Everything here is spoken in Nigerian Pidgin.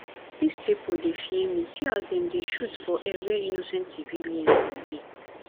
dis pipu dey fear me see as dem dey shoot for air where innocent civilian dem dey